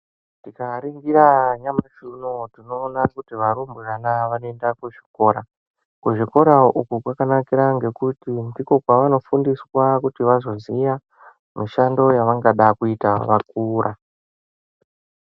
Tikaringira nyamashi unou tinoona kuti varumbwane vanoenda kuzvikora kuzvikora uku kwakanakira ngekuti ndiko kwavanofundiswa kuti vazoziva mishando yavangada kuzoita vakura.